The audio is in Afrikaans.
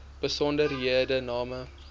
besonderhedename